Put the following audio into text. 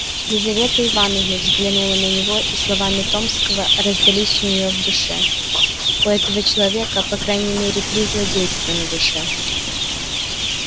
лизавета ивановна взглянула на него и словами томского раздались у нее в душе у этого человека по крайней мере три злодейства на душе